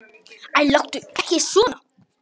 Æ, láttu ekki svona.